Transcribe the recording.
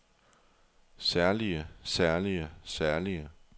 særlige særlige særlige